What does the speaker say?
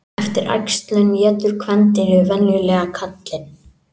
Eftir æxlun étur kvendýrið venjulega karlinn.